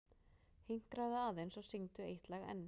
Hinkraðu aðeins og syngdu eitt lag enn.